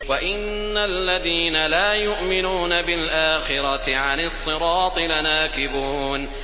وَإِنَّ الَّذِينَ لَا يُؤْمِنُونَ بِالْآخِرَةِ عَنِ الصِّرَاطِ لَنَاكِبُونَ